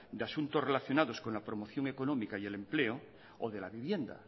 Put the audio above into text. de asuntos relacionados con la promoción económica y el empleo o de la vivienda